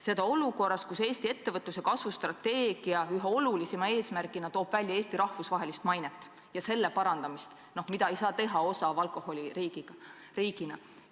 Seda olukorras, kus Eesti ettevõtluse kasvustrateegia toob ühe olulisima eesmärgina välja Eesti rahvusvahelise maine parandamise, mida ei saavuta odava alkoholi riigina.